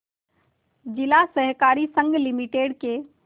जिला सहकारी संघ लिमिटेड के